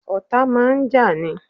Ọ̀tá máa ń jà ní.